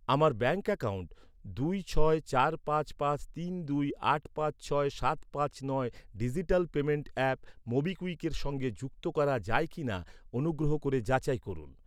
আমার bank account দুই ছয় চার পাঁচ পাঁচ তিন দুই আট পাঁচ ছয় সাত পাঁচ নয় ডিজিটাল পেমেন্ট অ্যাপ মোবিকুইকের সঙ্গে যুক্ত করা যায় কি না অনুগ্রহ করে যাচাই করুন।